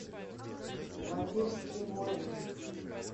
вампирские войны